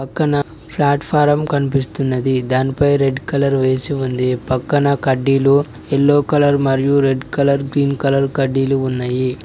పక్కన ప్లాట్ఫారం కనిపిస్తున్నది దానిపై రెడ్ కలర్ వేసి ఉంది పక్కన కడ్డీలు ఎల్లో కలర్ మరియు రెడ్ కలర్ గ్రీన్ కలర్ కడ్డీలు ఉన్నాయి.